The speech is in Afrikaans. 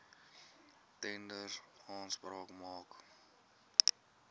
tenders aanspraak maak